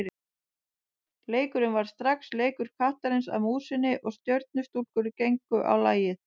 Leikurinn varð strax leikur kattarins að músinni og Stjörnustúlkur gengu á lagið.